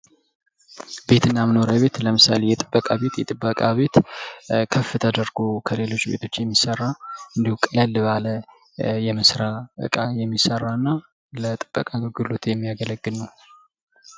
ቤትና መኖሪያ ቤት ለምሳሌ የጥበቃ ቤት የጥበቃ ቤት ከፍ ተደርጎ ከሌሎች ቤቶች የሚሰራ ቀላል ባለ እቃ የሚሰራና ለጥበቃ አገልግሎት የሚያገለግል ነው።